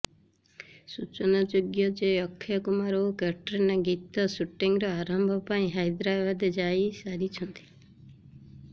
ସୂଚନାଯୋଗ୍ୟ ଯେ ଅକ୍ଷୟ କୁମାର ଓ କ୍ୟାଟ୍ରିନା ଗୀତ ଶୁଟିଂର ଆରମ୍ଭ ପାଇଁ ହାଇଦ୍ରାବାଦ ଯାଇସାରିଛନ୍ତି